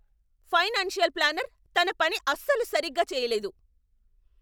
Financial planner తన పని అస్సలు సరిగ్గా చేయలేదు.